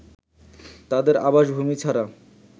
তাদের আবাসভূমি ছাড়া